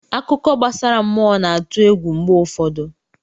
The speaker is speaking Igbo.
Akụkọ gbasara mmụọ na-atụ egwu mgbe ụfọdụ.